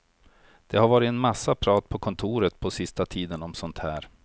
Det har varit en massa prat på kontoret på sista tiden om sådant här.